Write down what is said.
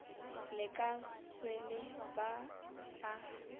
le ka swele ba a